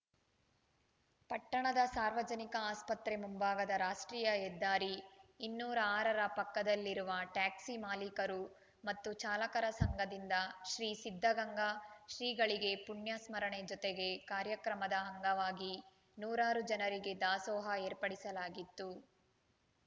ಪಟ್ಟಣದ ಸಾರ್ವಜನಿಕ ಆಸ್ಪತ್ರೆ ಮುಂಭಾಗದ ರಾಷ್ಟ್ರೀಯ ಹೆದ್ದಾರಿ ಇನ್ನೂರ ಆರರ ಪಕ್ಕದಲ್ಲಿರುವ ಟ್ಯಾಕ್ಸಿ ಮಾಲೀಕರು ಮತ್ತು ಚಾಲಕರ ಸಂಘದಿಂದ ಶ್ರೀ ಸಿದ್ಧಗಂಗಾ ಶ್ರೀಗಳಿಗೆ ಪುಣ್ಯಸ್ಮರಣೆ ಜೊತೆಗೆ ಕಾರ್ಯಕ್ರಮದ ಅಂಗವಾಗಿ ನೂರಾರು ಜನರಿಗೆ ದಾಸೋಹ ಏರ್ಪಡಿಸಲಾಗಿತ್ತು